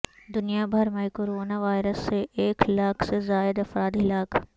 دنیا بھر میںکورونا وائرس سے ایک لاکھ سے زائد افراد ہلاک